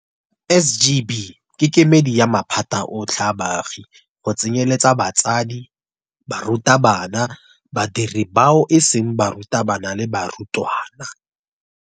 SGB ke kemedi ya maphata otlhe a baagi go tsenyeletsa batsadi, barutabana, badiri bao e seng barutabana le barutwana.